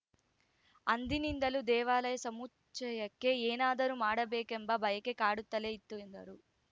ಅಂದಿನಿಂದಲೂ ದೇವಾಲಯ ಸಮುಚ್ಛಯಕ್ಕೆ ಏನಾದರೂ ಮಾಡಬೇಕೆಂಬ ಬಯಕೆ ಕಾಡುತ್ತಲೇ ಇತ್ತು ಎಂದರು